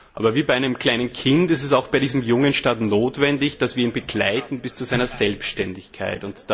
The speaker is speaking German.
Aber wie bei einem kleinen Kind ist es auch bei diesem jungen Staat notwendig, dass wir ihn begleiten bis zu seiner Selbständigkeit.